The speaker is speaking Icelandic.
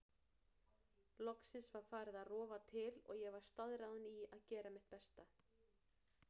Loksins var farið að rofa til og ég var staðráðin í að gera mitt besta.